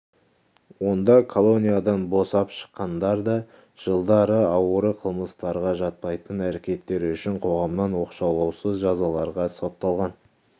онда колониядан босап шыққандар да жылдары ауыр қылмыстарға жатпайтын әрекеттер үшін қоғамнан оқшаулаусыз жазаларға сотталған